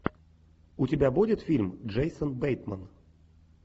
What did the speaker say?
у тебя будет фильм джейсон бейтман